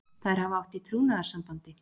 Þær hafa átt í trúnaðarsambandi.